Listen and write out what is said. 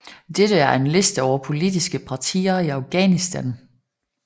Dette er en liste over politiske partier i Afghanistan